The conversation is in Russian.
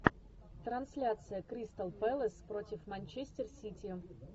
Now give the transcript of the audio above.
трансляция кристал пэлас против манчестер сити